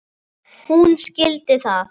Hún skildi það.